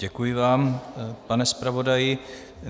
Děkuji vám, pane zpravodaji.